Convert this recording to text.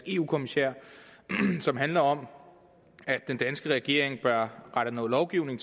eu kommissær som handler om at den danske regering bør rette noget lovgivning